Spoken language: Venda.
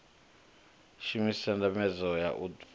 shumise ndambedzo ya u fhaṱa